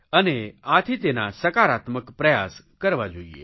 અને આથી તેના સકારાત્મક પ્રયાસ કરવા જોઇએ